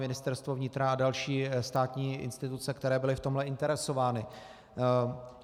Ministerstvo vnitra a další státní instituce, které byly v tomhle interesovány.